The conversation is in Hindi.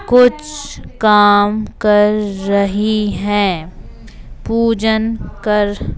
कुछ काम कर रही है पूजन कर--